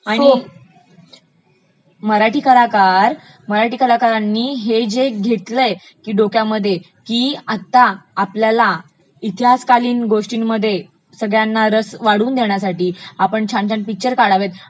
आणि मराठी कलाकरा ...मराठी कलाकरांनी हे जे घेतलय डोक्यामध्ये की आता आपल्याला इतिहासकालिन गोष्टांमध्ये सगळ्यांना रस वाटू देण्यासाठी आपण छान छान पिक्चर काढावेत,